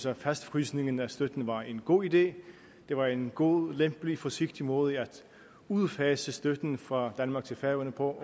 at fastfrysningen af støtten var en god idé det var en god lempelig forsigtig måde at udfase støtten fra danmark til færøerne på